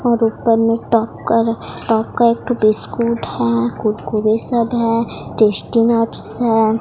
और ऊपर में एक ठो बिस्कुट है।